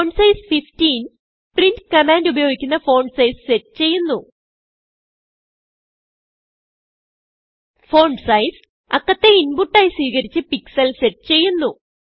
font size 15 printകമാൻഡ് ഉപയോഗിക്കുന്ന font sizeസെറ്റ് ചെയ്യുന്നു Fontsizeഅക്കത്തെ inputആയി സ്വീകരിച്ച് പിക്സൽ സെറ്റ് ചെയ്യുന്നു